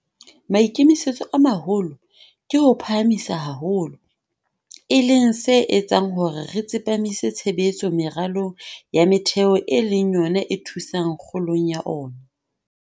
Maikemisetso a maholo ke ho o phahamisa haholo, e leng se etsang hore re tsepamise tshebetso meralong ya metheo e leng yona e thusang kgolong ya ona.